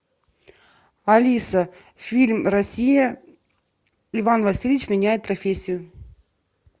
алиса фильм россия иван васильевич меняет профессию